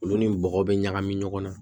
Olu ni bɔgɔ bɛ ɲagami ɲɔgɔn na